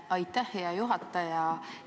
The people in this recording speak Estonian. Aitäh, hea juhataja!